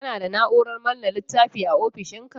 Kana da Na'urar manne littafin a ofishinka?